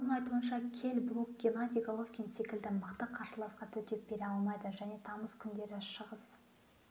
оның айтуынша келл брук геннадий головкин секілді мықты қарсыласқа төтеп бере алмайды және тамыз күндері шығыс